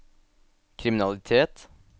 kriminalitet